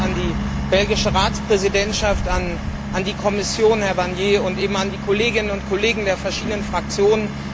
Vielen Dank an die belgische Ratspräsidentschaft, an die Kommission, Herrn Barnier, und an die Kolleginnen und Kollegen der verschiedenen Fraktionen.